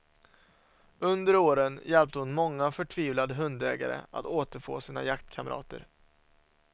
Under åren hjälpte hon många förtvivlade hundägare att återfå sina jaktkamrater.